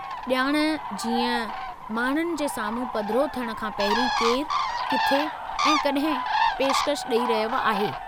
ॼाण जीअं माण्हुनि जे साम्हूं पधिरो थियण खां पहिरीं केरु, किथे ऐं कॾहिं पेशिकश ॾई रहियो आहे।